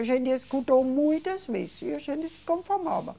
A gente escutou muitas vezes e a gente se conformava.